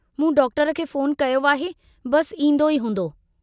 मूं डॉक्टर खे फोन कयो आहे, बस ईन्दो ई हूंदो।